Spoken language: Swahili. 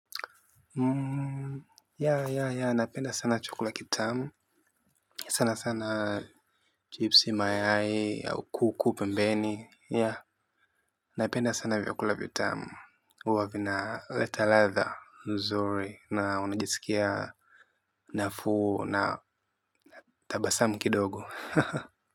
Ya, ya, ya. Napenda sana chukula kitamu. Sana sana chipsi mayai au kuku pembeni. Ya napenda sana vyakula vitamu. Huwa vina leta ladha nzuri na unajiskia nafuu na tabasamu kidogo.